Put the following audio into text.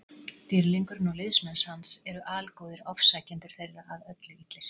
Dýrlingurinn og liðsmenn hans eru algóðir, ofsækjendur þeirra að öllu illir.